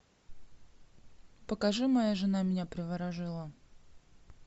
покажи моя жена меня приворожила